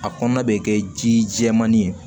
A kɔnɔna bɛ kɛ ji jɛmanin ye